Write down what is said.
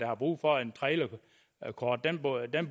har brug for et trailerkort